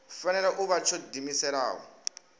fanela u vha tsho diimisela